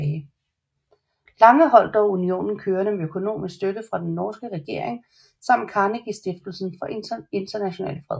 Lange holdt dog unionen kørende med økonomisk støtte fra den norske regering samt Carnegiestiftelsen for International Fred